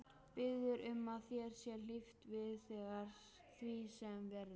Biður um að þér sé hlíft við því sem verður.